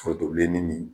Foronto bilenni ni